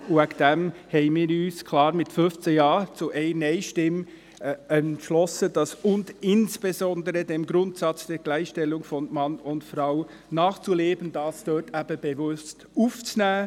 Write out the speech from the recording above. Deshalb haben wir uns klar mit 15 Ja-Stimmen gegen 1 Nein-Stimme entschieden, «und insbesondere dem Grundsatz der Gleichstellung von Mann und Frau nachzuleben» bewusst aufzunehmen.